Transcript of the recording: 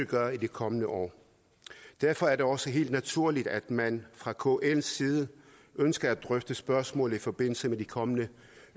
gøre i de kommende år derfor er det også helt naturligt at man fra kls side ønsker at drøfte spørgsmålet i forbindelse med de kommende